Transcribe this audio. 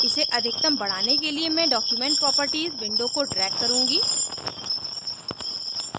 इसे अधिकतम बढ़ाने के लिए मैं document properties window को drag करुँगी